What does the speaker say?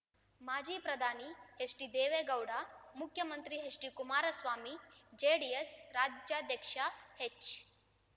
ಮಾಜಿ ಪ್ರಧಾನಿ ಹೆಚ್ಡಿ ದೇವೇಗೌಡ ಮುಖ್ಯಮಂತ್ರಿ ಹೆಚ್ಡಿ ಕುಮಾರಸ್ವಾಮಿ ಜೆಡಿಎಸ್ ರಾಜ್ಯಾಧ್ಯಕ್ಷ ಹೆಚ್